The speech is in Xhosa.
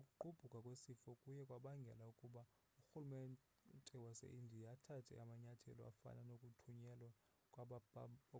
ukugqbhuka kwesifo kuye kwabangela ukuba urhulumente wase-indiya athathe amanyathelo afana nokuthunyelwa